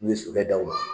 N'u ye sokɛw